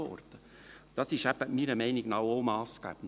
Dies ist meiner Meinung nach auch massgebend.